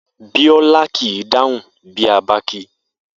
Bíó̩lá kì í dáhún bí a bá kí i